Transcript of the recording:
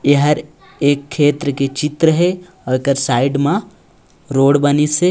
ये हर एक खेत्र के चित्र हे आऊ एकर साइड मा रोड बनीस हे।